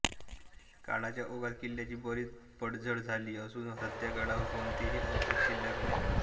काळाच्या ओघात किल्ल्याची बरीच पडझड झाली असून सध्या गडावर कोणतेही अवशेष शिल्लक नाहीत